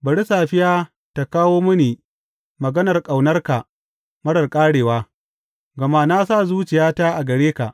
Bari safiya ta kawo mini maganar ƙaunarka marar ƙarewa, gama na sa zuciyata a gare ka.